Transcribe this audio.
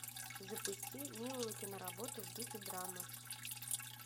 запусти милую киноработу в духе драмы